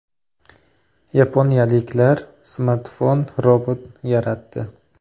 Yaponiyaliklar smartfon robot yaratdi .